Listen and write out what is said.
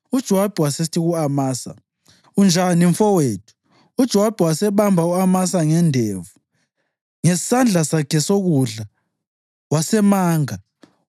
UJowabi wasesithi ku-Amasa, “Unjani, mfowethu?” UJowabi wasebamba u-Amasa ngendevu ngesandla sakhe sokudla wasemanga.